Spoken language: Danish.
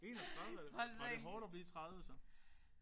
31. Var det hårdt at blive 30 så?